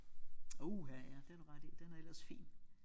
Uha ja det har du ret i den er ellers fin